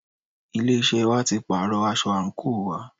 Ilé iṣẹ́ wa tí pàárọ̀ aṣọ àńkò wa.